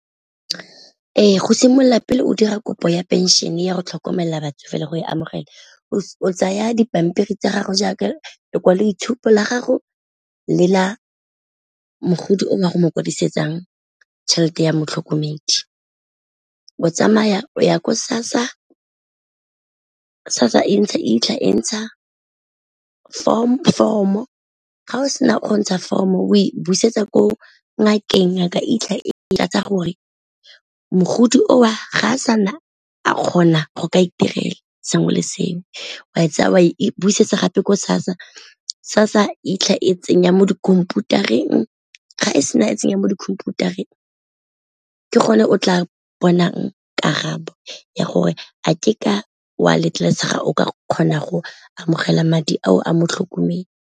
Ee, go simolola pele o dira kopo ya pension-e ya go tlhokomela batsofe le go e amogela o tsaya dipampiri tsa gago jaaka lekwaloitshupo la gago le la mogodi o a go mo kwadisetsang tšhelete ya motlhokomedi, o tsamaya o ya ko SASSA, SASSA e itlha e ntsha foromo ga o sena go ntsha foromo e busetsa ko ngakeng ngaka itlhela gore mogodi o o ga a sana a kgona go ka itirela sengwe le sengwe. O a e tsaya o e buisetsa gape ko SASSA, SASSA itlha e tsenya mo dikhomputareng ga e sena e tsenya mo dikhomputareng ke gone o tla bonang karabo ya gore a ke ka o a letlelesega o ka kgona go amogela madi ao a mo tlhokomedi.